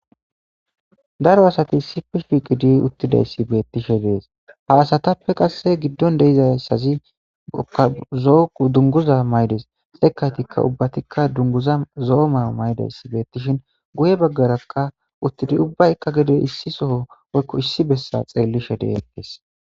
Daro asati sipe shiiqidi uttidayssi beettishe dees ha asatappe qasse giddon deizassazi dunguza maydes xeekaytikka ubbatikka dunguza zo7o mayo maydayssi beettishin guye baggarakka uttidi ubbaykka gedey issi soho woykko issi bessa xeellishe deetes.